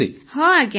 ହଁ ଆଜ୍ଞା